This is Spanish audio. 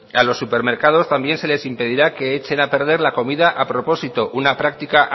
a los supermercados también se les impedirá que echen a perder la comida a propósito una práctica